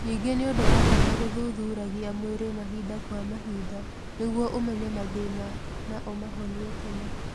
Ningĩ nĩ ũndũ wa bata gũthuthuragia mwĩrĩ mahinda kwa mahinda nĩguo ũmenye mathĩna na ũmahonie tene.